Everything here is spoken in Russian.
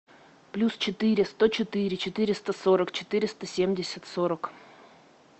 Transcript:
плюс четыре сто четыре четыреста сорок четыреста семьдесят сорок